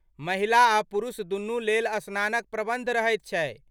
महिला आ पुरुष दुनूक लेल स्नानक प्रबन्ध रहैत छै।